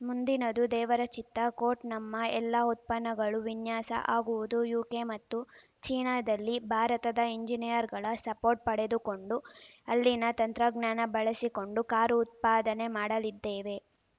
ಮುಂದಿನದು ದೇವರ ಚಿತ್ತ ಕೋಟ್‌ ನಮ್ಮ ಎಲ್ಲಾ ಉತ್ಪನ್ನಗಳು ವಿನ್ಯಾಸ ಆಗುವುದು ಯುಕೆ ಮತ್ತು ಚೀನಾದಲ್ಲಿ ಭಾರತದ ಇಂಜಿನಿಯರ್‌ಗಳ ಸಪೋರ್ಟ್‌ ಪಡೆದುಕೊಂಡು ಅಲ್ಲಿನ ತಂತ್ರಜ್ಞಾನ ಬಳಸಿಕೊಂಡು ಕಾರು ಉತ್ಪಾದನೆ ಮಾಡಲಿದ್ದೇವೆ